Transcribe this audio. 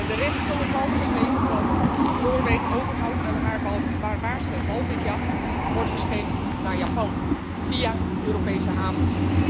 De rest van het walvisvlees dat Noorwegen overhoudt aan haar barbaarse walvisjacht, wordt verscheept naar Japan via Europese havens.